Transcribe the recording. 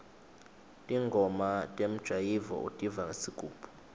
ntingoma temjayivo utiva ngesigubhu